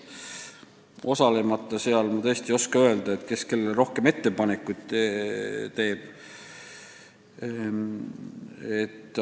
Seal osalemata ma tõesti ei oska öelda, kes kellele rohkem ettepanekuid teeb.